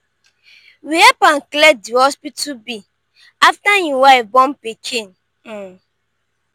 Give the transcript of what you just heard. we help am clear di hospital bill afta im wife born pikin um.